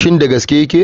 Shin da gaske yake?